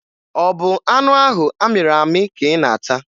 Ọ bụ anụ ahụ amịrị amị ka ị na-ata?